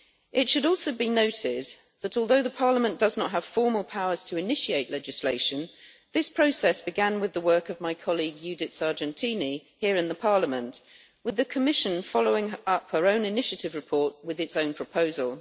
It should also be noted that, although Parliament does not have formal powers to initiate legislation, this process began with the work of my colleague Judith Sargentini here in Parliament, with the Commission following up her own initiative report with its own proposal.